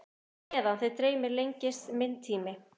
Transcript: En á meðan þig dreymir lengist minn tími.